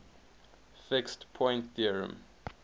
fixed point theorem